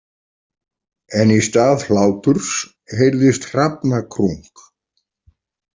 En í stað hláturs heyrðist hrafnakrunk.